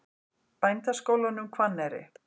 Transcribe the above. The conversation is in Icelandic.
Bændaskólanum Hvanneyri